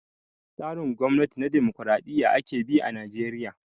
Tsarin gwamnati na dimokraɗiya ake bi a najeriya